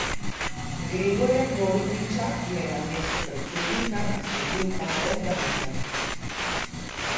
Gregorja Golobiča je na mestu predsednika nasledil Pavel Gantar.